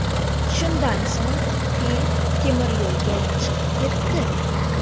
Shundan so‘ng fil temiryo‘lga chiqib ketdi.